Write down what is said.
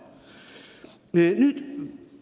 Sedagi ei tohi unustada.